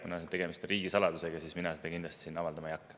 Kuna tegemist on riigisaladusega, siis mina seda kindlasti siin avaldama ei hakka.